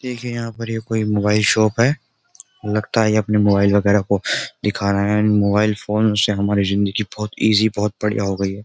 देखिए यहां पर ये कोई मोबाइल शॉप है लगता है ये अपने मोबाइल वगैरह को दिखा रहा है मोबाइल फोन से हमारी जिंदगी बहुत इजी बहुत बढ़िया हो गई है।